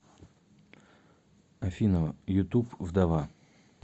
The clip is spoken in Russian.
афина ютуб вдова